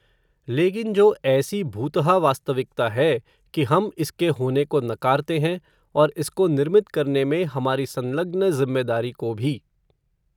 लेकिन जो ऐसी भूतहा वास्तविकता है, कि हम इसके होने को नकारते हैं, और इसको निर्मित करने में, हमारी संलग्न ज़िम्मेवारी को भी